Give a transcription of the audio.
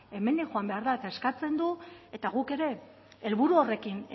hemendik joan behar da eta eskatzen du eta guk ere helburu horrekin